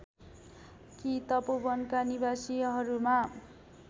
कि तपोवनका निवासीहरूमा